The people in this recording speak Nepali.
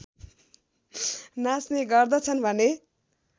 नाच्ने गर्दछन् भने